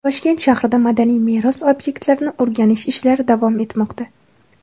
Toshkent shahrida madaniy meros obyektlarini o‘rganish ishlari davom etmoqda.